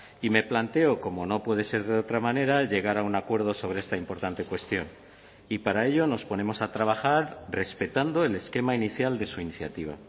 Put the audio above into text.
y me planteo como no puede ser de otra manera llegar a un acuerdo sobre esta importante cuestión y para ello nos ponemos a trabajar respetando el esquema inicial de su iniciativa